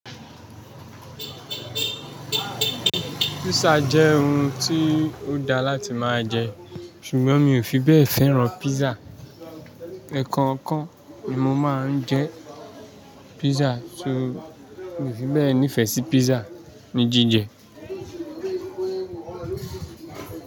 Pizza jẹ́ oun tí ó dáa láti máa jẹ ṣùgbọ́n mi ò fi bẹ́ẹ̀ fẹ́ràn pizza. Ẹ̀ẹ̀kan kan ni mo máa ń jẹ pizza torí mi ò fi bẹ́ẹ̀ nífẹ̀ẹ́ sí pizza ní jíjẹ.